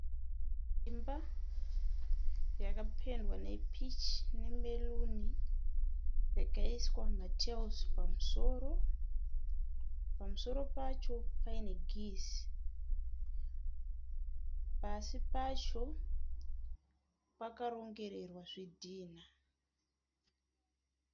Imba yakapendwa nepichi nemeruni yakaiswa ma(tiles) pamusoro. Pamusoro pacho paine (geyser). Pasi pacho pakarongererwa zvidhina.